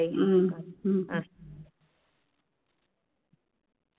உம் உம்